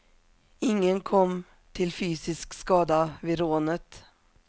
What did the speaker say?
Ingen kom till fysisk skada vid rånet.